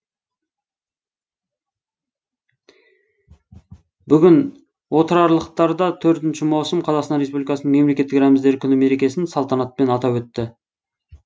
бүгін отырарлықтар да төртінші маусым қазақстан республикасының мемлекеттік рәміздері күні мерекесін салтанатпен атап өтті